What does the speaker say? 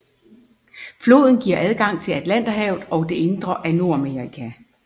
Floden giver adgang til Atlanterhavet og det indre af Nordamerika